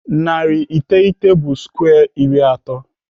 Narị iteghete bụ skwe iri atọ.